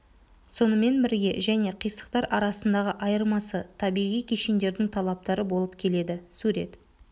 сонымен бірге және қисықтар арасындағы айырмасы табиғи кешендердің талаптары болып келеді сурет